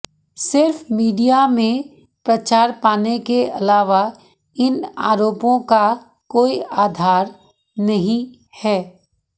सिर्फ मीडिया में प्रचार पाने के अलावा इन आरोपों का कोई आधार नहीं है